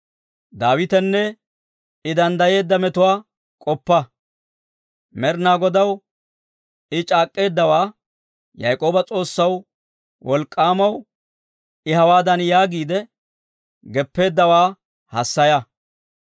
Med'inaa Godaw I c'aak'k'eeddawaa, Yaak'ooba s'oossaw, Wolk'k'aamaw I hawaadan yaagiide geppeeddawaa hassaya;